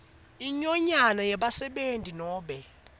inyonyane yebasebenti nobe